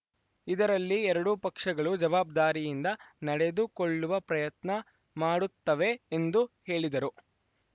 ಇದರಲ್ಲಿ ಎರಡೂ ಪಕ್ಷಗಳು ಜವಾಬ್ದಾರಿಯಿಂದ ನಡೆದುಕೊಳ್ಳುವ ಪ್ರಯತ್ನ ಮಾಡುತ್ತವೆ ಎಂದು ಹೇಳಿದರು